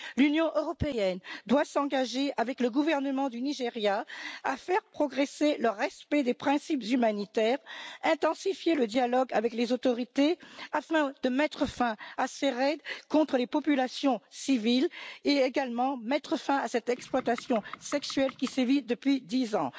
L'Union européenne doit s'engager avec le gouvernement du Nigeria à faire progresser le respect des principes humanitaires, à intensifier le dialogue avec les autorités afin de mettre fin à ces raids contre les populations civiles, et également à mettre fin à cette exploitation sexuelle qui sévit depuis 10 ans.